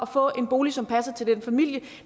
få en bolig som passer til den familie